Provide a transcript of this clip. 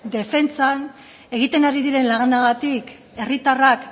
defentsan egiten ari diren lanagatik herritarrak